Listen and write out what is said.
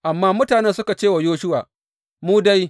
Amma mutanen suka ce wa Yoshuwa, Mu dai!